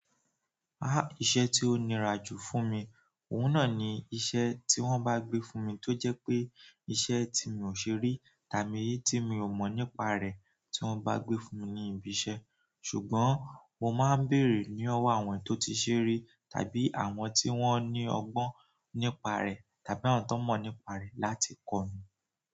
Iṣẹ́ tí ó nira jù fún mi, òun náà ni iṣẹ́ tí wọ́n bá gbé fún mi tó jẹ́ pé iṣẹ́ tí mi ò ṣe rí tàbí tí mi ò mọ̀ nípa rẹ̀ tí wọ́n bá gbé fún mi ní ibi iṣẹ́. Ṣùgbọ́n mo máa ń béèrè ni owó àwọn tó ti ṣe rí, ta bí àwọn tí won ní ọgbọ́n nípa rẹ̀, tàbí àwọn tán mo nípa rẹ̀ láti kọ́ mi.